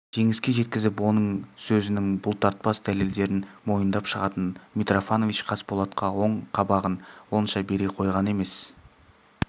жеңіске жеткізіп оның сөзінің бұлтартпас дәлелдерін мойындап шығатын митрофанович қасболатқа оң қабағын онша бере қойған емес